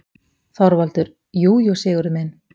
ÞORVALDUR: Jú, jú, Sigurður minn.